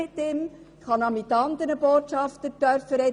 Ich durfte auch mit anderen Botschaftern sprechen.